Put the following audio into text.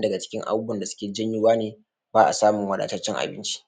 da ciki guda uku ne ko wani ciki yana da nashi muhimmanci da kuma amfani da kuma irin abunda ake yi da shi daga lokacin da samu haka za a bi hanyoyin nan domin a cire shi daga cikin gona lokacin da ya nuna a busar da shi a bi duk wa'innan hanyoyi domin a ga an samu abunda ake